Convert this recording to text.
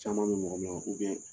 Caman min mɔgɔ na ?